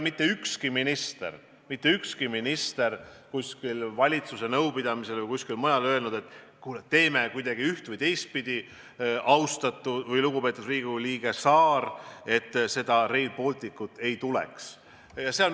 Mitte ükski minister pole valitsuse nõupidamisel ega mujal öelnud, et kuule, teeme kuidagi üht- või teistpidi – austatud või lugupeetud Riigikogu liige Saar –, et seda Rail Balticut ei tuleks.